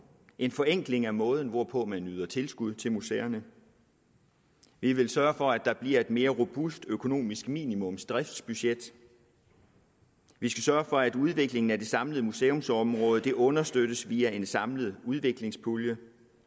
en forenkling af måden hvorpå man yder tilskud til museerne vi vil sørge for at der bliver et mere robust økonomisk minimumsdriftsbudget vi skal sørge for at udviklingen af det samlede museumsområde understøttes via en samlet udviklingspulje